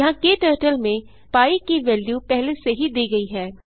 यहाँ क्टर्टल में पी की वेल्यू पहले से ही दी गई है